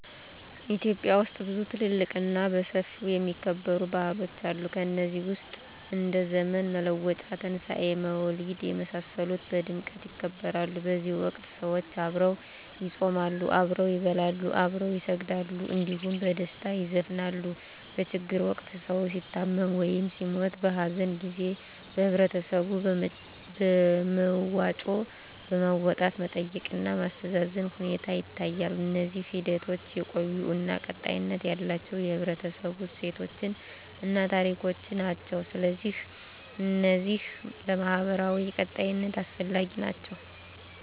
ኢትዮጵያ ውስጥ ብዙ ትልልቅ እና በሰፊው የሚከበሩ ባህሎች አሉ ከነዚህ ውስጥ እንደ ዘመን መለወጫ; ትንሣኤ; መውሊድ የመሳሰሉት በድምቀት ይከበራሉ በዚህ ወቅት ሰዎች አብረው ይጾማሉ፣ አብረው ይበላሉ፣ አብረው ይሰግዳሉ እንዲሁም በደስታ ይዘፍናሉ። በችግር ወቅት ሰዉ ሲታመም ወይም ሲሞት(በሀዘን) ጊዜ በህበረተሰቡ በመዋጮ በማዋጣት መጠየቅ እና ማስተዛዘን ሁኔታ ይታያል። እነዚህ ሂደቶች የቆዩ እና ቀጣይነት ያላቸው የህብረተሰቡ እሴቶችን እና ታሪኮችን ናቸው። ስለዚህ እነዚህ ለማህበራዊ ቀጣይነት አስፈላጊ ናቸው